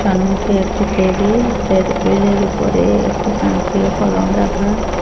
সম্মুখে একটি টেবিল ট্রেবিলের উপরে একটি তান্ত্রীয় কলম রাখা।